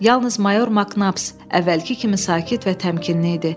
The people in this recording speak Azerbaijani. Yalnız mayor Maknaps əvvəlki kimi sakit və təmkinli idi.